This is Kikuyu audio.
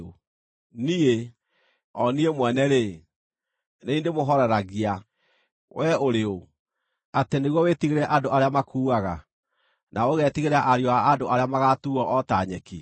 “Niĩ, o niĩ mwene-rĩ, nĩ niĩ ndĩmũhooreragia. Wee ũrĩ ũ, atĩ nĩguo wĩtigĩre andũ arĩa makuuaga, na ũgetigĩra ariũ a andũ arĩa magaatuuo o ta nyeki,